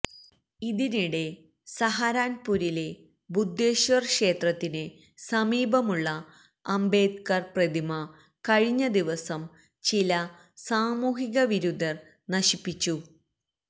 ഇതിനിടെ സഹരാന്പുരിലെ ബുദ്ധേശ്വര് ക്ഷേത്രത്തിന് സമീപമുള്ള അംബേദ്കര് പ്രതിമ കഴിഞ്ഞദിവസം ചില സാമൂഹികവിരുദ്ധര് നശിപ്പിച്ചു